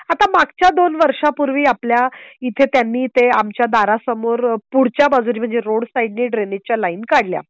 आता मागच्या दोन वर्षांपूर्वी आपल्या इथे त्यांनी ते आमच्या दारासमोर पुढच्या बाजूला म्हणजे रोड साइडनी ड्रेनेज च्या लाइन काढल्या.